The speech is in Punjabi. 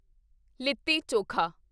ਲਿੱਤੀ ਚੋਖਾ